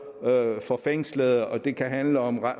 for fængslede og det kan handle om